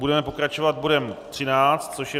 Budeme pokračovat bodem 13, což je